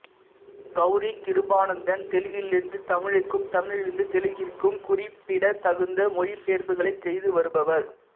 கௌரி கிருபானந்தன் தெலுங்கிலிருந்து தமிழுக்கும் தமிழிலிருந்து தெலுங்கிற்கும் குறிப்பிடத்தகுந்த மொழிபெயர்ப்புகளைச் செய்து வருபவர்